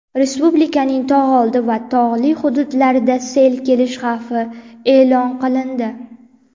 respublikaning tog‘ oldi va tog‘li hududlarida sel kelish xavfi e’lon qilindi.